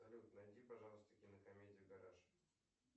салют найди пожалуйста кинокомедию гараж